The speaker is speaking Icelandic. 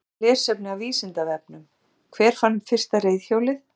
Frekara lesefni af Vísindavefnum: Hver fann upp fyrsta reiðhjólið?